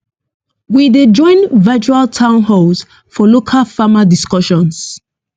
we dey join virtual town halls for local farmer discussions